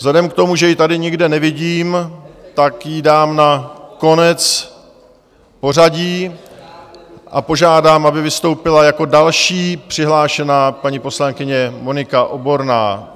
Vzhledem k tomu, že ji tady nikde nevidím, tak ji dám na konec pořadí a požádám, aby vystoupila jako další přihlášená paní poslankyně Monika Oborná.